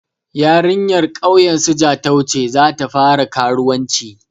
Yarinyar ƙauyen su Jatau ta ce za ta fara karuwanci.